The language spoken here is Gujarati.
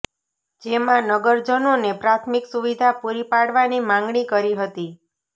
જેમાં નગરજનોને પ્રાથમિક સુવિધા પૂરી પાડવાની માંગણી કરી હતી